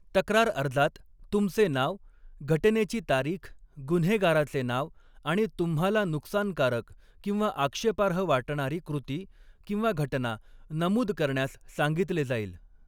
तक्रार अर्जात तुमचे नाव, घटनेची तारीख, गुन्हेगाराचे नाव आणि तुम्हाला नुकसानकारक किंवा आक्षेपार्ह वाटणारी कृती किंवा घटना नमूद करण्यास सांगितले जाईल.